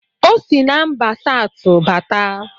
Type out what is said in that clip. Ọ sị na mba Satụ bata